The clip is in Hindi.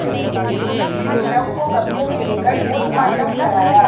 पुलिस ने शव को कब्जे में लेकर पोस्टमार्टम कराया